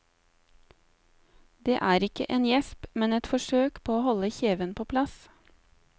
Det er ikke en gjesp, men et forsøk på å holde kjeven på plass.